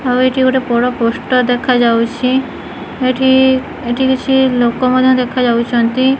ଆଉ ଏଠି ଗୋଟେ ବଡ଼ ପୋଷ୍ଟର ଦେଖାଯାଉଛି ଏଠି ଏଠି କିଛି ଲୋକ ମାନେ ମଧ୍ୟ ଦେଖାଯାଉଛନ୍ତି।